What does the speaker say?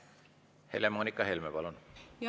Helle-Moonika Helme, palun!